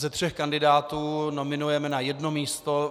Ze tří kandidátů nominujeme na jedno místo.